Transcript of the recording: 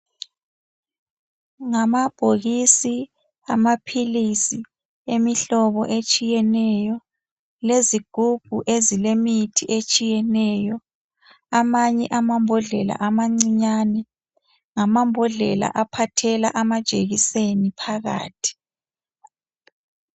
Ngamabhokisi amaphilisi emihlobo etshiyeneyo lezigubhu ezilemithi etshiyeneyo. Amanye amambodlela amancinyane ngamambodlela aphathela amajekiseni phakathi.